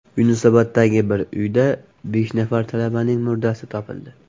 Yunusoboddagi bir uyda besh nafar talabaning murdasi topildi .